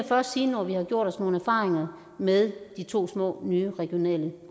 først sige når vi har gjort os nogle erfaringer med de to små nye regionale